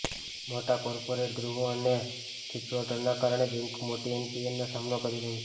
મોટા કોર્પોરેટ ગૃહો અને ડિફોલ્ટરોના કારણે બેન્કો મોટી એનપીએનો સામનો કરી રહી છે